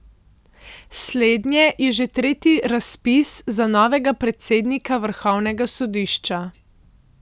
Slednje je že tretji razpis za novega predsednika vrhovnega sodišča.